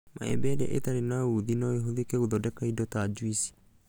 Maembe ĩrĩa ĩtarĩ na ũthĩ no ĩhũthĩke gũthondeka indo ta juici